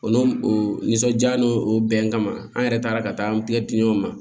O n'o o nisɔndiya n'o o bɛnkan an yɛrɛ taara ka taa an o ma